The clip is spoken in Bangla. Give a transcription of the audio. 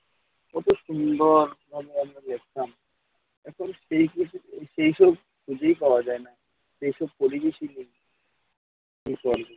কত সুন্দরভাবে আমরা খেলতাম, এখন সেই সুযোগ সেইসব খুঁজেই পাওয়া যায় না। সেই সব পরিবেশই নেই এখন।